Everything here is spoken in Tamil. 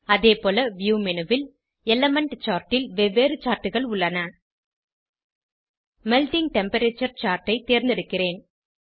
அதேபோல வியூ மேனு ல் எலிமெண்ட் சார்ட் ல் வெவ்வேறு chartகள் உள்ளன மெல்ட்டிங் டெம்பரேச்சர் சார்ட் ஐ தேர்ந்தெடுக்கிறேன்